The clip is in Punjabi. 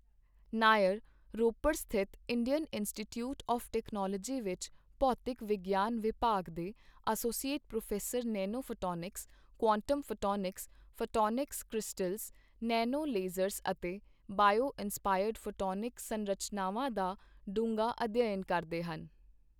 ਨਾਇਰ, ਰੋਪੜ ਸਥਿਤ ਇੰਡੀਅਨ ਇੰਸਟੀਟਿਊਟ ਆਵ੍ ਟੈਕਨੋਲੋਜੀ ਵਿੱਚ ਭੌਤਿਕ ਵਿਗਿਆਨ ਵਿਭਾਗ ਦੇ associate professor nanophotonics, quantum photonics, photonic crystals, nanolasers ਅਤੇ ਬਾਇਓ ਇਨਸਪਾਇਰਡ ਫ਼ੋਟੋਨਿਕ ਸੰਰਚਨਾਵਾਂ ਦਾ ਡੂੰਘਾ ਅਧਿਐਨ ਕਰਦੇ ਹਨ।